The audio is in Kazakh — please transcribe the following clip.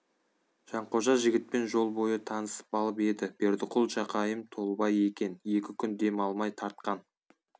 жанқожа жігітпен жол бойы танысып алып еді бердіқұл жақайым толыбай екен екі күн дем алмай тартқан